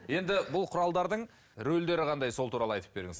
енді бұл құралдардың рөлдері қандай сол туралы айтып беріңіз